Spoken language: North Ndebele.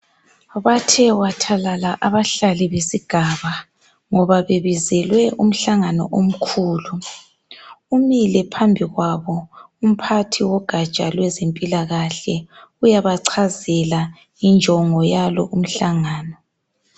Bathe wathathalala abahlali besigaba, ngoba bebizele umhlangano okhlulu. Umile phambi kwabo umphathi wegaja lwezemphilakahle, uyabacazela injongo yalo umhlangano.